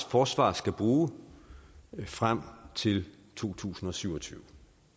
forsvaret skal bruge frem til to tusind og syv og tyve